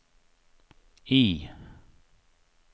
I